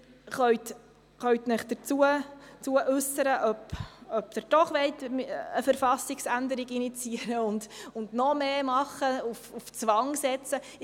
Sie werden sich dazu äussern können, ob Sie doch lieber eine Verfassungsänderung initiieren, noch weiter gehen und auf Zwang setzen möchten.